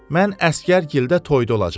Mən əsgər gildə toyda olacam.